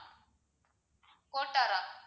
கோட்டார்ரா?